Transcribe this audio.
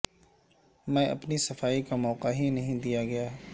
میں اپنی صفائی کا موقع ہی نہیں دیا گیا